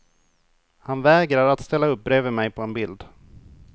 Han vägrar att ställa upp bredvid mej på en bild.